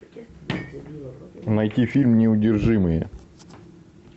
найти фильм неудержимые